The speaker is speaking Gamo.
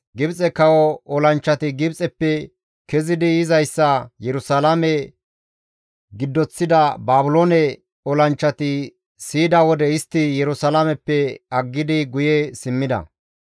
Gibxe kawo olanchchati Gibxeppe kezidi yizayssa Yerusalaame giddoththida Baabiloone olanchchati siyida wode istti Yerusalaameppe aggidi guye simmida.